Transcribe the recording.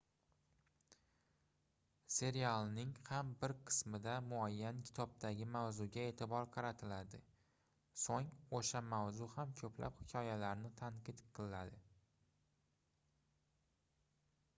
serialning ham bir qismida muayyan kitobdagi mavzuga eʼtibor qaratiladi soʻng oʻsha mavzu ham koʻplab hikoyalarni tadqiq qiladi